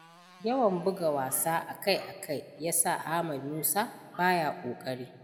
Yawan buga wasa akai-akai, ya sa Ahmed Musa ba ya ƙoƙari.